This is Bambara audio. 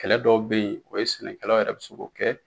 Kɛlɛ dɔw bɛ ye o ye sɛnɛkɛlaw yɛrɛ bɛ se k'o kɛ.